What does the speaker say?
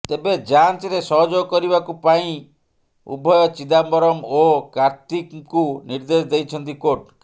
ତେବେ ଯାଂଚରେ ସହଯୋଗ କରିବାକୁ ପାଇଁ ଉଭୟ ଚିଦାମ୍ବରମ ଓ କାର୍ତ୍ତିଙ୍କୁ ନିର୍ଦ୍ଦେଶ ଦେଇଛନ୍ତି କୋର୍ଟ